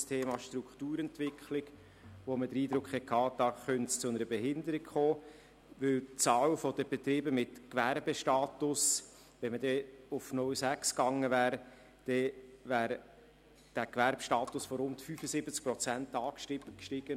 Beim Thema Strukturentwicklung, bei dem man den Eindruck hatte, es könne zu einer Behinderung kommen, weil die Zahl der Betriebe mit Gewerbestatus, wenn man auf 0,6 SAK gegangen wäre, wäre dieser Gewerbestatus von rund 75 Prozent auf rund 85 Prozent angestiegen.